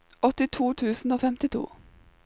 åttito tusen og femtito